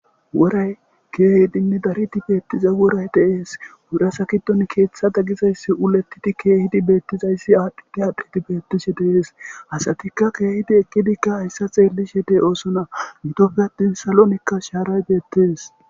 Woray keehidinne daridi beettiza woray deees wurasakidon keeththa daggizayssi ulettidi keehidi beettizayssi aadhddi aadhdidi beettishe deees hasatikka keehidi eqqidikka hayssa xeellishe dee oosona gitofe attin salonikka shaaray beettes.